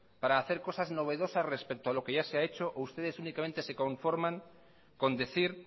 para hacer cosas novedosas respecto a lo que ya se ha hecho o ustedes únicamente se conforman con decir